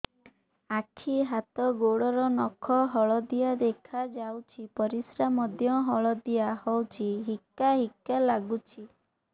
ଆଖି ହାତ ଗୋଡ଼ର ନଖ ହଳଦିଆ ଦେଖା ଯାଉଛି ପରିସ୍ରା ମଧ୍ୟ ହଳଦିଆ ହଉଛି ହିକା ହିକା ଲାଗୁଛି